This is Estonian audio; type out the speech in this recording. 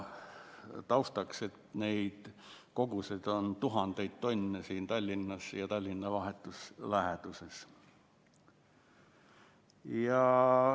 Taustaks: neid koguseid on tuhandeid tonne siin Tallinnas ja Tallinna vahetus läheduses.